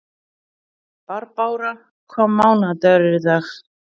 Barbára, hvaða mánaðardagur er í dag?